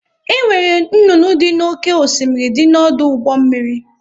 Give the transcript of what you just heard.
Enwere nnụnụ ndị dị n'oké osimiri dị n'ọdụ ụgbọ mmiri.